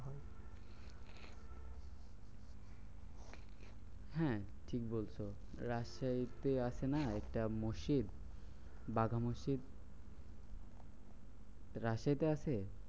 হ্যাঁ ঠিক বলছো রাস্তায় এতেই আছে না? একটা মসজিদ বাঘা মসজিদ রাশেয়াতে আছে।